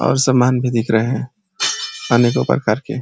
और सामान भी दिख रहा है अनेको प्रकार के।